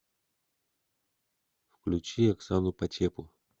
включи оксану почепу